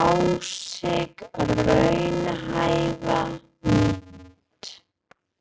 á sig raunhæfa mynd.